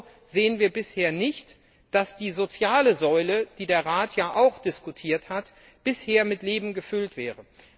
Genauso sehen wir bisher nicht, dass die soziale Säule, die der Rat ja auch diskutiert hat, mit Leben gefüllt wäre.